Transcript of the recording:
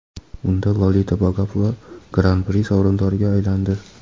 Unda Lolita Vagapova Gran-pri sovrindoriga aylandi.